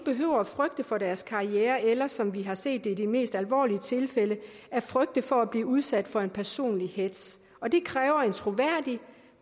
behøver frygte for deres karriere eller som vi har set det i de mest alvorlige tilfælde frygte for at blive udsat for en personlig hetz og det kræver en troværdig